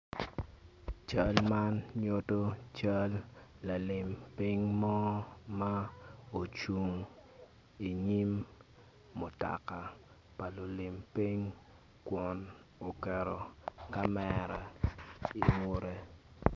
Cal man nyuto cal lalim piny mo ma ocung i nyim mutoka pa lulim piny kun oketo kamera i ngute.